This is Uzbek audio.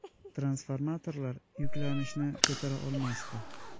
Transformatorlar yuklanishni ko‘tara olmasdi.